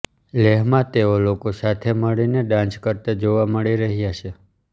લેહમાં તેઓ લોકો સાથે મળીને ડાંસ કરતા જોવા મળી રહ્યા છે